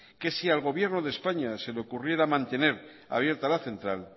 que si al gobierno de españa se le ocurriera mantener abierta la central